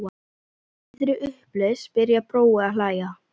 Í miðri upplausn byrjar Brói að hlæja.